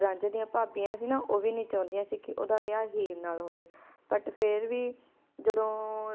ਰਾਂਝੇ ਡਿਯਨ ਪਾਬਿਯਾਂ ਸੀ ਊ ਵੀ ਨਾਈ ਚੌਦਿਯਾਂ ਸੀ ਓਦਾ ਵਿਯਾਹ ਹੀਰ ਨਾਲ ਹੋਵੇ but ਫੇਰ ਵੀ ਜਦੋਂ